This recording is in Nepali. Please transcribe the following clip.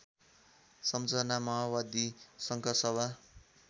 सम्झना माओवादी संखुवासभा